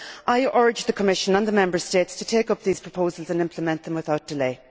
I urge the Commission and the Member States to take up these proposals and implement them without delay.